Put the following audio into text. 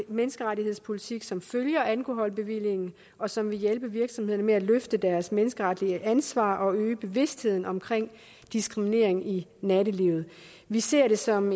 menneskerettighedspolitik som følger alkoholbevillingen og som vil hjælpe virksomhederne med at løfte deres menneskeretlige ansvar og øge bevidstheden om diskriminering i nattelivet vi ser det som